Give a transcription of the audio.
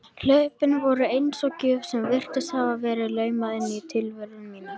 Hlaupin voru eins og gjöf sem virtist hafa verið laumað inn í tilveru mína.